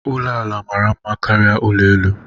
Ulo ala mara mma karịa ụlọ elu